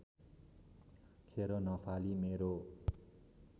खेर नफाली मेरो